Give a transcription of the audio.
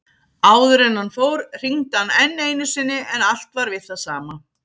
Áður en hann fór hringdi hann enn einu sinni en allt var við það sama.